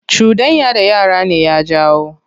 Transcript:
Cuɗanya da yara ne ya jawo.